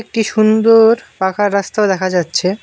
একটি সুন্দর পাকা রাস্তা দেখা যাচ্ছে।